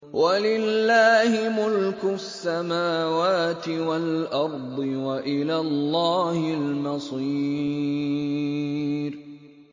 وَلِلَّهِ مُلْكُ السَّمَاوَاتِ وَالْأَرْضِ ۖ وَإِلَى اللَّهِ الْمَصِيرُ